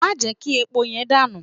Má jẹ́ kí epo yẹn dànù!